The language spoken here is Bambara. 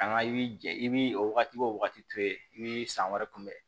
An ka i bi jɛ i bi o wagati to yen i bi san wɛrɛ kunbɛn